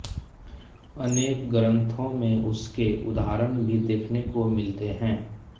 अनेक ग्रन्थों में उसके उदाहरण भी देखने को मिलते हैं